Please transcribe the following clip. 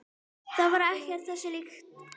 Það var ekkert þessu líkt.